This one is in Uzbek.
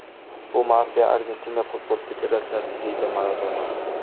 Bu mafiya Argentina futbol federatsiyasi”, deydi Maradona.